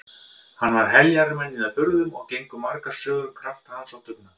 Hann var heljarmenni að burðum og gengu margar sögur um krafta hans og dugnað.